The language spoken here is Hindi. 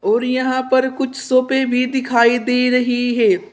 और यहां पर कुछ सोफे भी दिखाई दे रहे हैं।